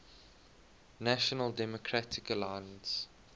national democratic alliance